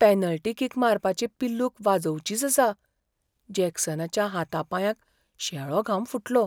Penalty kick मारपाची पिल्लूक वाजोवचीच आसा, जॅक्सनाच्या हाता पांयांक शेळो घाम फुटलो.